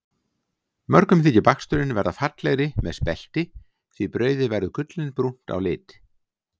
Mörgum þykir baksturinn verða fallegri með spelti því brauðið verður gullinbrúnt á lit.